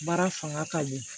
Baara fanga ka bon